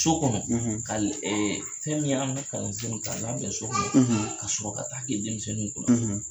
So kɔnɔ, , ka ɛɛ fɛn min ye an ka kalansew k'a labɛn sokɔnɔ, , ka sɔrɔ ka t'a kɛ denmisɛnninw kunna, .